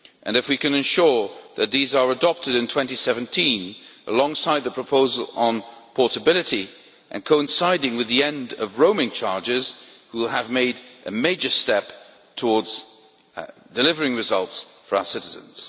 If we can ensure that these proposals are adopted in 2017, alongside the proposal on portability and coinciding with the end of roaming charges, we will have made a major step towards delivering results for our citizens.